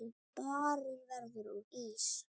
Barinn verður úr ís.